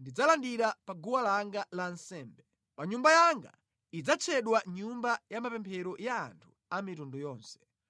ndidzazilandira pa guwa langa la nsembe. Paja nyumba yanga idzatchedwa nyumba ya mapemphero ya anthu a mitundu yonse.”